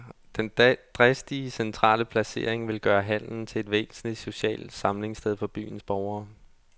Den dristige centrale placering vil gøre hallen til et væsentligt socialt samlingsted for byens borgere.